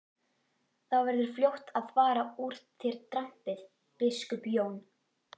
Þá verður fljótt að fara úr þér drambið, biskup Jón!